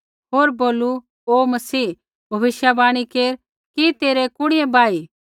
होर बोलू हे मसीह भविष्यवाणी केर कि तेरै कुणिऐ बाही